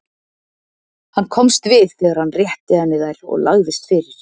Hann komst við þegar hann rétti henni þær og lagðist fyrir.